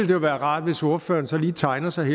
jo være rart hvis ordføreren så lige tegnede sig